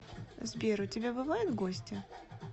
сбер у тебя бывают гости